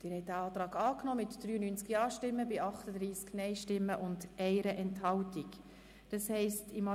Sie haben dem Antrag mit 93 Ja- gegen 38 Nein-Stimmen bei 1 Enthaltung zugestimmt.